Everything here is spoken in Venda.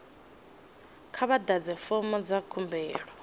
kha vha ḓadze fomo dza khumbelo